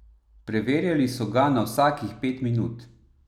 Preverjali so ga na vsakih pet minut.